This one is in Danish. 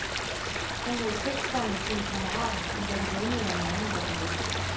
Han lå i telt sammen med sine kammerater, men da de vågnede om morgenen, var han væk.